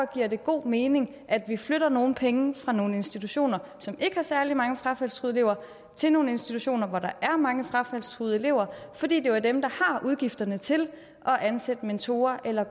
giver det god mening at vi flytter nogle penge fra nogle institutioner som ikke har særlig mange frafaldstruede lever til nogle institutioner hvor der er mange frafaldstruede elever for det er jo dem der har udgifterne til at ansætte mentorer eller